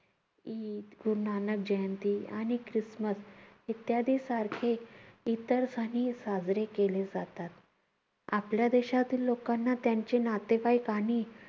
ईद, गुरु नानक जयंती आणि ख्रिस्मस इत्यादी सारखे इतर साजरे केले जातात. आपल्या देशातील लोकांना त्यांचे नातेवाईक आणि